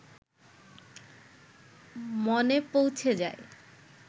মনে পৌঁছে যায়